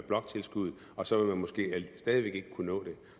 bloktilskuddet og så vil man måske stadig væk ikke kunne nå det